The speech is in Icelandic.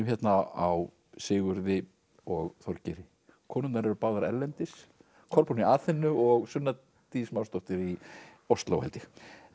hérna á Sigurði og Þorgeiri konurnar eru báðar erlendis Kolbrún í Aþenu og Sunna Dís Másdóttir í Osló held ég